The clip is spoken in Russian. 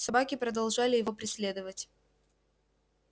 собаки продолжали его преследовать